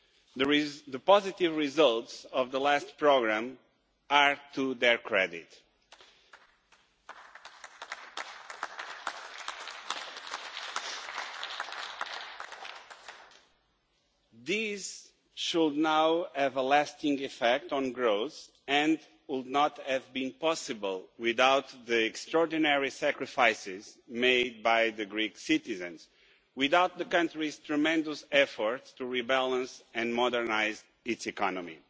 The positive results of the last programme are to their credit. These should now have a lasting effect on growth and would not have been possible without the extraordinary sacrifices made by the Greek citizens, without the country's tremendous efforts to rebalance and modernise its economy.